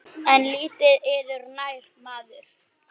En lítið yður nær maður.